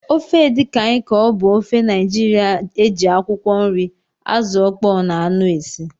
Ofe edikang ikong bụ ofe Naijiria eji akwụkwọ nri, azụ okpoo na aṅụ esị.